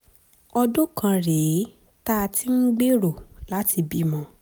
ọdún kan rèé tá a ti ń gbèrò láti bímọ